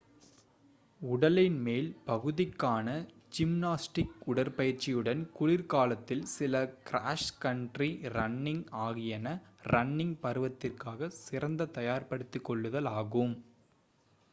உடலின் மேல் பகுதிக்கான ஜிம்னாஸ்டிக் உடற்பயிற்சியுடன் குளிர்காலத்தில் சில க்ராஸ் கன்ட்ரி ரன்னிங் ஆகியன ரன்னிங் பருவத்திற்காக சிறந்த தயார்படுத்திக்கொள்ளுதல் ஆகும்